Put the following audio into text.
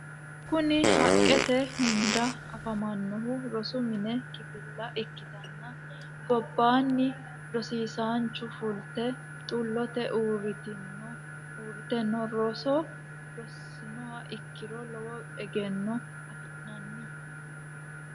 Kuni haqqete hunda afamannohu rosu mini kifilla ikkitanna gobbanni rosisancho fulte xullote uurrite no. roso ronsiha ikkiro lowo egeenno afi'nanni.